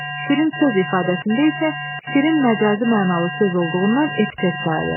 Şirin söz ifadəsində isə şirin məcazi mənalı söz olduğundan epitet sayılır.